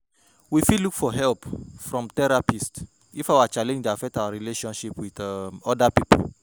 We fit look for help from therapist if our challenge dey affect our relationship with um oda pipo